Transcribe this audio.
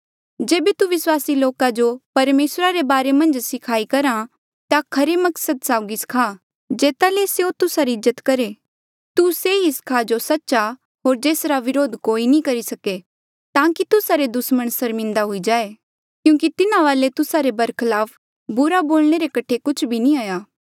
तू से ही सखा जो सच्च आ होर जेसरा विरोध कोई नी करी सके ताकि तुस्सा रे दुसमण सर्मिन्दा हुई जाये क्यूंकि तिन्हा वाले तुस्सा रे बरखलाफ बुरा बोलणे रे कठे कुछ भी नी आ